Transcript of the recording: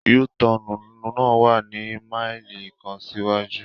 U-Tọnu na wa ni maili kan siwaju